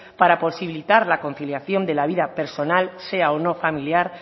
para posibilitar la conciliación de la vida personal sea o no familiar